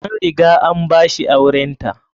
An riga an ba shi aurenta.